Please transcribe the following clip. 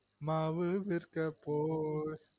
மாவு விற்க போய்